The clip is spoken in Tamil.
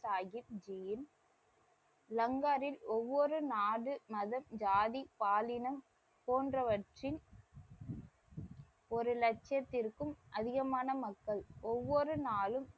சாஹிப் ஜி யின் லங்காவில் ஒவ்வொரு நாடு மதம் ஜாதி பாலினம் போன்றவற்றின் ஒரு லட்சியத்திற்க்கும் அதிகமான மக்கள் ஒவ்வொரு நாளும்,